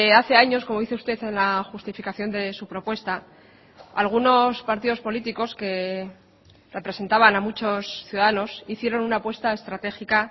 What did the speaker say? hace años como dice usted en la justificación de su propuesta algunos partidos políticos que representaban a muchos ciudadanos hicieron una apuesta estratégica